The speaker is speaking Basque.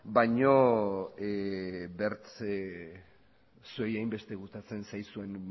baina zuei hainbeste gustatzen zaizuen